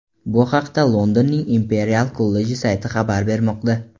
Bu haqda Londonning Imperial kolleji sayti xabar bermoqda .